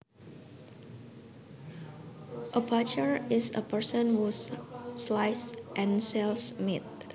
A butcher is a person who slices and sells meat